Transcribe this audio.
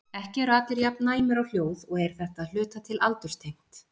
Ekki eru allir jafn næmir á hljóð og er þetta að hluta til aldurstengt.